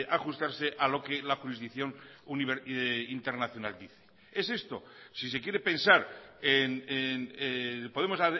ajustarse a lo que la jurisdicción internacional dice es esto si se quiere pensar podemos